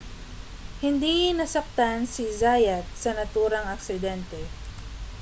hindi nasaktan si zayat sa naturang aksidente